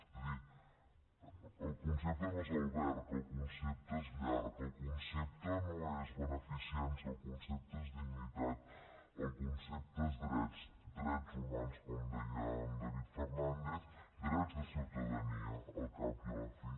és a dir el concepte no és alberg el concepte és llar el concepte no és beneficència el concepte és dignitat el concepte són drets drets humans com deia en david fernàndez drets de ciutadania al cap i a la fi